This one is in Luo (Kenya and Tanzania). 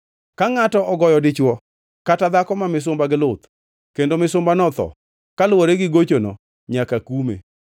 “Ka ngʼato ogoyo dichwo kata dhako ma misumba gi luth kendo misumbano otho kaluwore gi gochono, nyaka kume.